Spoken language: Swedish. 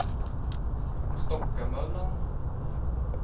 Stockamöllan